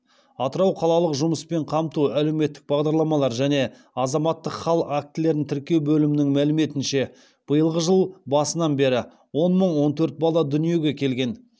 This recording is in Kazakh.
атырау қалалық жұмыспен қамту әлеуметтік бағдарламалар және азаматтық хал актілерін тіркеу бөлімнің мәліметінше биылғы жыл басынан бері он мың он төрт бала дүниеге келген